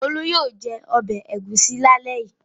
Olú yóò jẹ ọbẹ̀ ẹ̀gúsí lálẹ́ yìí.